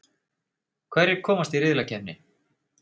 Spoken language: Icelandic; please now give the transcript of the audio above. Hverjir komast í riðlakeppnina?